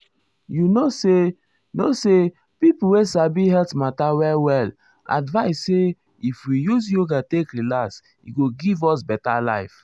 you know say know say pipo wey sabi health matter well well advise say if we use yoga take relax e go give us beta life.